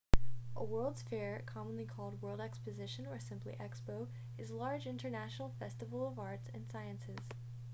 a world's fair commonly called world exposition or simply expo is large international festival of arts and sciences